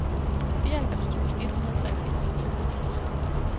fireoghalvfems tusind et hundrede og treogfirs